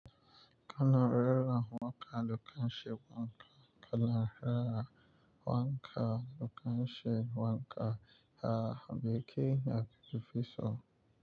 Kana rera waƙa da kan shewaka, kana rera waƙa da kan shewaka, ha, meke yi a firifiso?